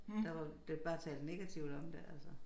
Der var det bare talt negativt om det altså